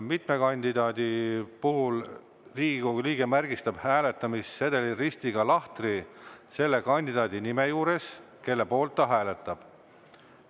Mitme kandidaadi puhul märgistab Riigikogu liige hääletamissedelil ristiga lahtri selle kandidaadi nime juures, kelle poolt ta hääletab.